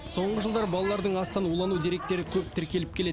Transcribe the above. соңғы жылдары балалардың астан улану деректері көп тіркеліп келеді